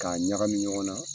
K'a ɲagamin ɲɔgɔn na